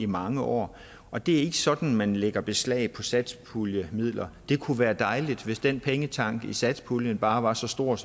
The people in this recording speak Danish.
mange år og det er ikke sådan man lægger beslag på satspuljemidler det kunne være dejligt hvis den pengetank i form af satspuljen bare var så stor